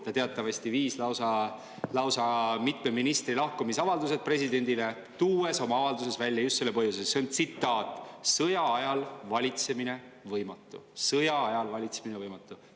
Ta teatavasti viis lausa mitme ministri lahkumisavaldused presidendile, tuues oma avalduses välja just selle põhjuse, et "sõjaajal valitsemine võimatu".